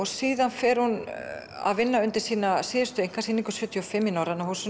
síðan fer hún að undirbúa sína síðustu einkasýningu sjötíu og fimm í Norræna húsinu